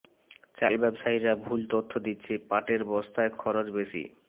চাল ব্যবসায়ীরা ভুল তথ্য দিচ্ছে পাটের বস্তায় খরচ বেশি